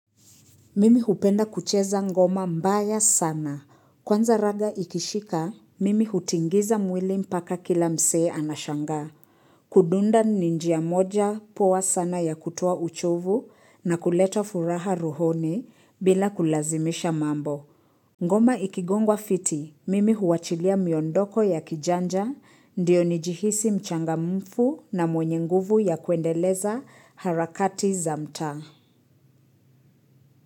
Mimi hupenda kucheza ngoma mbaya sana. Kwanza raga ikishika, mimi hutingiza mwili mpaka kila msee anashangaa Kudunda ni njia moja poa sana ya kutoa uchovu na kuleta furaha ruhoni bila kulazimisha mambo. Ngoma ikigongwa fiti, mimi huachilia miondoko ya kijanja, ndiyo nijihisi mchangamfu na mwenye nguvu ya kuendeleza harakati za mtaa.